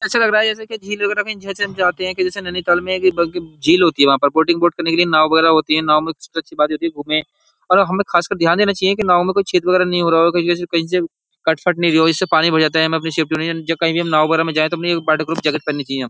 ऐसा लग रहा है जैसे कि झील वगैरह में जैसे हम जाते हैं कि जैसे नैनीताल में एक झील होती है वहां पर वोटिंग वोट करने के लिए नाव वगैरह होती है। नाव में सबसे अच्छी बात ये होती है घूमे और हमें खासकर ध्यान देना चाहिए कि नाव में कोई छेद वगैरह नहीं हो रहा हो कहीं से कहीं से कटफट नहीं रही हो इससे पानी भर जाता है। हम अपनी सेफ्टी हो कहीं भी हम नाव वगैरह में जाए तो अपनी एक वाटर प्रूफ पहननी चाहिए।